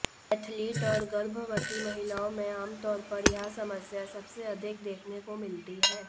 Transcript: athlete और गर्भवती महिलाओं में आमतौर पर यह समस्या सबसे अधिक देखने को मिलती है